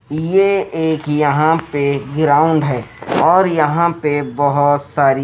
यह एक यहां पे ग्राउंड है और यहां पे बहुत सारी--